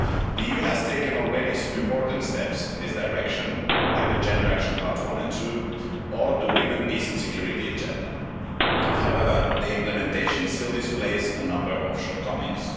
The EU has taken already some important steps in this direction, like the Gender Action Plans I and II or the women, peace and security agenda. However their implementation still displays a number of shortcomings.